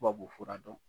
Tubabufura dɔn